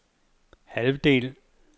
halvdel